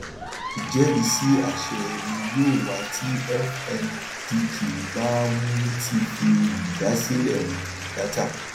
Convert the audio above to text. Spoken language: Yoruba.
ìjẹrìísí aṣẹ ni yóò wá tí fmdq bá um ti fi um dásílẹ um dáta